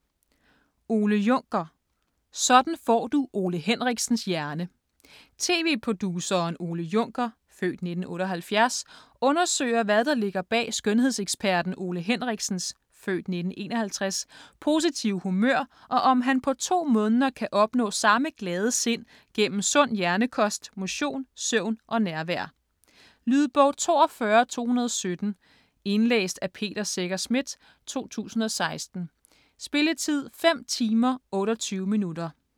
Juncker, Ole: Sådan får du Ole Henriksens hjerne Tv-produceren Ole Juncker (f. 1978) undersøger hvad der ligger bag skønhedseksperten Ole Henriksens (f. 1951) positive humør, og om han på to måneder kan opnå samme glade sind gennem sund hjernekost, motion, søvn og nærvær. Lydbog 42217 Indlæst af Peter Secher Schmidt, 2016. Spilletid: 5 timer, 28 minutter.